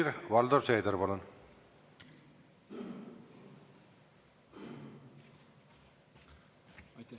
Helir-Valdor Seeder, palun!